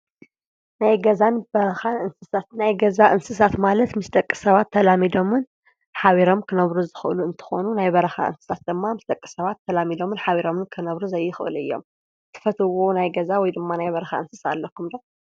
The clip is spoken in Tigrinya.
ናይ ገዛን በርኻን እንስሳት፣ ናይ ገዛ እንስሳት ማለት ምስ ደቂ ሰባት ተላሚዶምን ኃቢሮም ክነብሩ ዝኽእሉ እንተኾኑ ናይ በረኻ እንስሳት ደማ ምስ ደቂ ሰባት ተላሚዶምን ኃቢሮምን ክነብሩ ዘይኽእሉ እዮም። ትፈትዎ ናይ ገዛ ወይ ድማ ናይ በርኻ እንስሳ ኣለኹም ዶ?